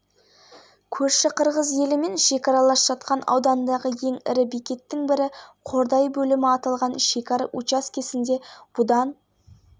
дәл қазір лас-вегас қаласында кәсіпқой бокстан жерлесіміз бекман сойлыбаев пен мексикалық фернандо варгастың жекпе-жегі өтіп жатыр